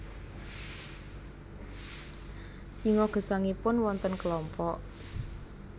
Singa gesangipun wonten kelompok